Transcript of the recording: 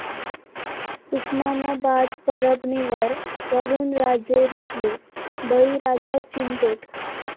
उस्मानाबाद, परभणीवर वरूणराजे रुसले, बळीराजा चिंतेत